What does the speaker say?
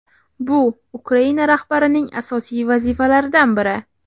bu – "Ukraina rahbarining asosiy vazifalaridan biri".